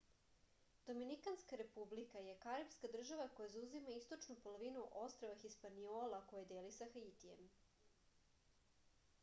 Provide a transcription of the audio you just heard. доминиканска република шпански: republica dominicana је карипска држава која заузима источну половину острва хиспаниола које дели са хаитијем